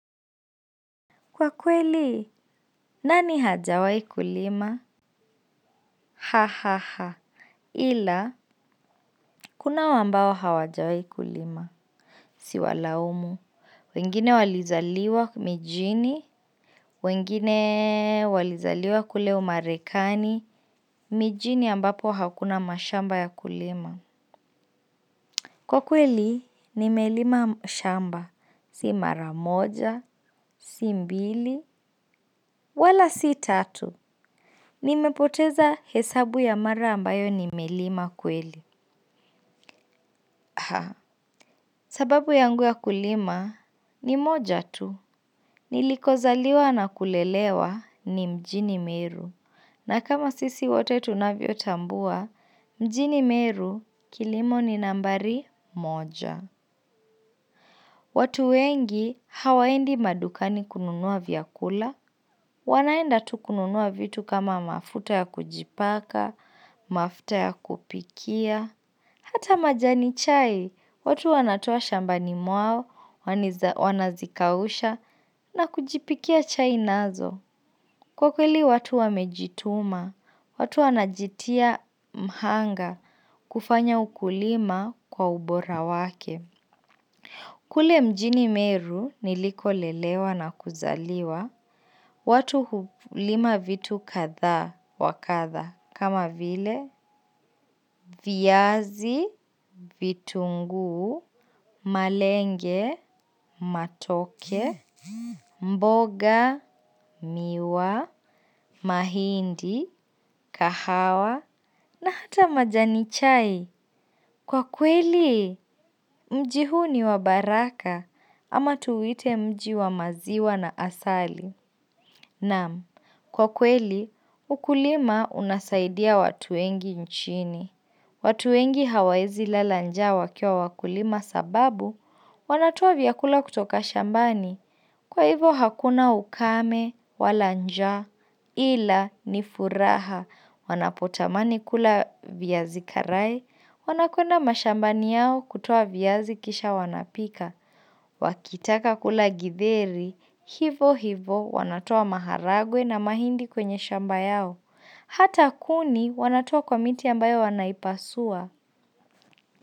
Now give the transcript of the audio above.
Kwa kweli, nani hajawahi kulima? Ha ha ha. Ila, kunao ambao hawajawahi kulima. Siwalaumu. Wengine walizaliwa mijini. Wengine walizaliwa kule umarekani. Mijini ambapo hakuna mashamba ya kulima. Kwa kweli, nimelima shamba. Si mara moja, si mbili, wala si tatu. Nimepoteza hesabu ya mara ambayo nimelima kweli. Sababu yangu ya kulima ni moja tu. Nilikozaliwa na kulelewa ni mjini meru. Na kama sisi wote tunavyotambua, mjini meru kilimo ni nambari moja. Watu wengi hawaendi madukani kununua vyakula. Wanaenda tu kununua vitu kama mafuta ya kujipaka, mafuta ya kupikia, hata majani chai, watu wanatoa shambani mwao, wanazikausha, na kujipikia chai nazo. Kwa kweli watu wamejituma, watu wanajitia mhanga, kufanya ukulima kwa ubora wake. Kule mjini meru nilikolelewa na kuzaliwa, watu hulima vitu kadhaa wa kadha kama vile viazi, vitunguu, malenge, matoke, mboga, miwa, mahindi, kahawa na hata majani chai. Kwa kweli, mji huu ni wa baraka ama tuuite mji wa maziwa na asali. Naam, kwa kweli, ukulima unasaidia watu wengi nchini. Watu wengi hawezi lala njaa wakiwa wakulima sababu wanatoa vyakula kutoka shambani. Kwa hivo hakuna ukame, wala njaa, ila, ni furaha, wanapotamani kula viazi karai, wanakwenda mashambani yao kutoa viazi kisha wanapika. Wakitaka kula githeri, hivo hivo wanatoa maharagwe na mahindi kwenye shamba yao. Hata kuni wanatoa kwa miti ambayo wanaipasua.